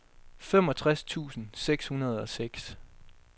femogtres tusind seks hundrede og seks